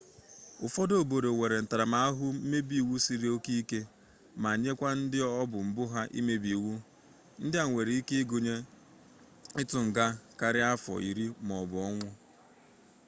ụfọdụ obodo nwere ntaramahụhụ mmebi iwu siri oke ike ma nyekwa ndị ọbụ mbụ ha imebi iwu ndị a nwere ike ịgụnye ịtụ nga karịa afọ iri maọbụ ọnwụ